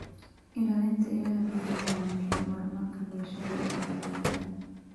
Ilaalinta ilaha biyaha waa muhiim horumarka bulshada iyo fayoobida.